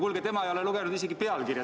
Kuulge, tema ei ole lugenud isegi pealkirja!